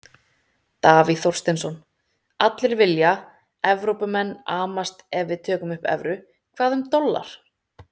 Davíð Þorsteinsson: Allir vilja, Evrópumenn amast ef við tökum upp evru, hvað um dollar?